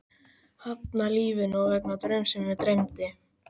Hafnað lífinu vegna draums sem mig dreymdi?